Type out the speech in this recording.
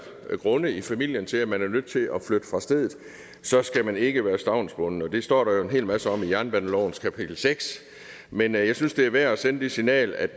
grunde i familien til at man er nødt til at flytte fra stedet så skal man ikke være stavnsbundet det står der jo en hel masse om i jernbanelovens kapitel seks men jeg synes det er værd at sende det signal at